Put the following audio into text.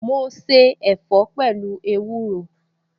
Mo se ẹ̀fọ́ pẹ̀lú ewúro